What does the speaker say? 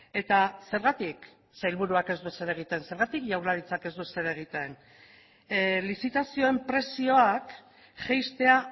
eta zergatik sailburuak ez du ezer egiten zergatik jaurlaritzak ez du ezer egiten lizitazioen prezioak jaistea